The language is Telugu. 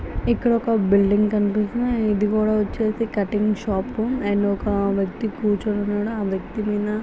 ఇక్కడ ఒక బిల్డింగ్ కనిపిస్తుంది. ఇది కూడా వచ్చేసి ఒక కటింగ్ షాపు . ఒక వ్యక్తి కూర్చొని ఉన్నాడు. ఆ వ్యక్తి మీద--